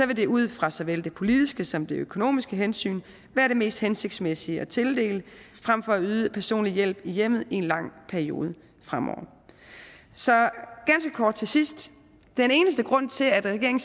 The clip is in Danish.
vil det ud fra såvel det politiske som det økonomiske hensyn være det mest hensigtsmæssige at tildele frem for at yde personlig hjælp i hjemmet i en lang periode fremover så ganske kort til sidst den eneste grund til at regeringen